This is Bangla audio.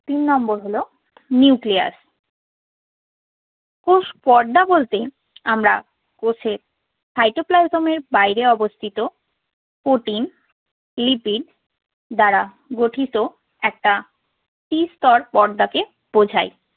কোষ পর্দা বলতে আমরা কোষের cytoplasm এর বাইরে অবস্থিত proteinlipid দ্বারা গঠিত একটা ত্রিস্তর পর্দাকে বোঝাই।